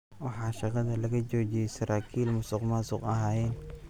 Waxaa shaqada laga joojiyey saraakiil musuqmaasuq ahayeen.